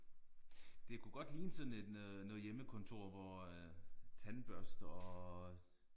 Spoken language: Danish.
Det kunne godt ligne sådan en noget hjemmekontor hvor øh tandbørster og